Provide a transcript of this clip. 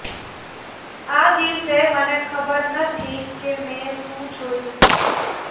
આ દિવસે મને ખબર નથી કે મેં શું જોયું